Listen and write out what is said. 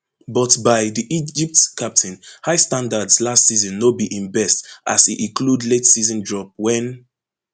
but by di egypt captain high standards last season no be im best as e include lateseason drop wen